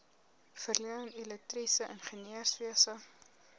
verleen elektriese ingenieurswese